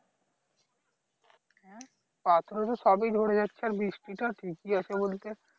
হ্যাঁ পাথরে তো সবই ঝরে যাচ্ছে আর বৃষ্টি টা ঠিকই আছে বলতে